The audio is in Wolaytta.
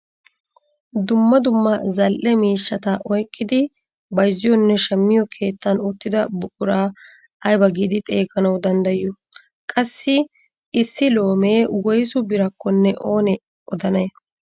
Dumma dumma zal"e miishshata oyqqidi bayzziyoonne shammiyoo keettan uttida buquraa aybaa giidi xeganawu danddayiyoo? qassi issi loomee woysu birakonne oonee odanay?